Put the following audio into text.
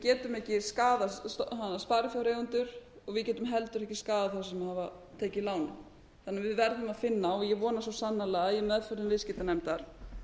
getum ekki skaðað sparifjáreigendur og við getum heldur ekki skaðað þá sem hafa tekið lánin þannig að við verðum að finna og ég vona svo sannarlega í meðförum viðskiptanefndar